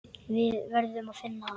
Við verðum að finna hann.